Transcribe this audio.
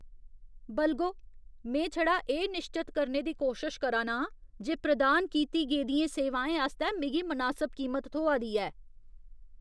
बलगो, में छड़ा एह् निश्चत करने दी कोशश करा ना आं जे प्रदान कीती गेदियें सेवाएं आस्तै मिगी मनासब कीमत थ्होआ दी ऐ।